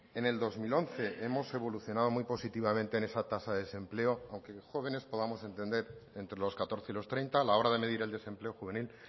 en el dos mil once hemos evolucionado muy positivamente en esa tasa de desempleo aunque jóvenes podamos entender entre los catorce y los treinta a la hora de medir el desempleo juvenil